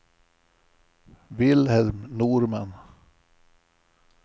Vilhelm Norman